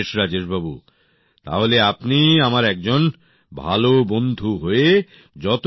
বেশ রাজেশ বাবু তাহলে আপনি আমার একজন ভাল বন্ধু হয়ে যান